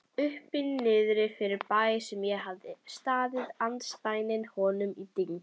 Uppi-Niðri-fyrirbæri, sem hafði staðið andspænis honum í dyngju